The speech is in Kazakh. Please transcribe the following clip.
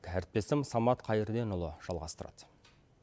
әріптесім самат қайырденұлы жалғастырады